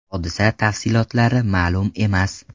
Hodisa tafsilotlari ma’lum emas.